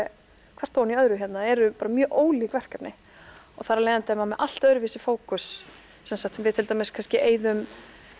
hvert ofan í öðru hérna eru bara mjög ólík verkefni þar af leiðandi er maður með allt öðruvísi fókus við kannski eyðum